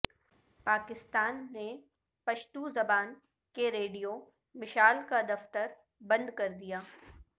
پاکستان نے پشتو زبان کے ریڈیو مشال کا دفتر بند کر دیا